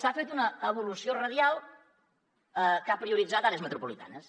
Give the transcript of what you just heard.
s’ha fet una evolució radial que ha prioritzat àrees metropolitanes